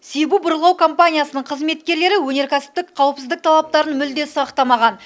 сибу бұрғылау компаниясының қызметкерлері өнеркәсіптік қауіпсіздік талаптарын мүлде сақтамаған